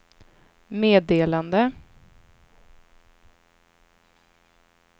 meddelande